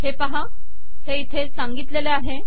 हे पाहा हे इथे सांगितलेले आहे